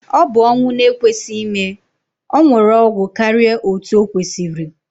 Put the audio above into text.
Ọbụ ọnwụ na ekwesị ime, ọnwuru ọgwụ karịa otú okwesiri